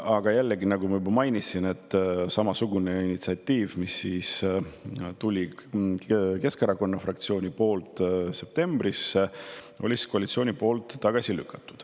Aga jällegi, nagu ma juba mainisin, lükkas koalitsioon samasuguse Keskerakonna fraktsiooni initsiatiivi tagasi, mis tuli septembris.